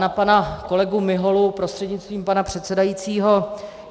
Na pana kolegu Miholu prostřednictvím pana předsedajícího.